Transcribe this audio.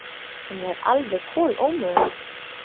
Hún er alveg kolómöguleg!